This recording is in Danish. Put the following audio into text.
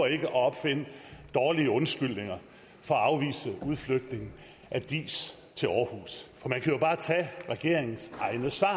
ikke at opfinde dårlige undskyldninger for at afvise udflytning af diis til aarhus for man kan jo bare tage regeringens egne svar